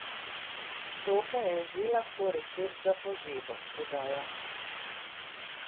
To pa je že lahko recept za pozebo, dodaja.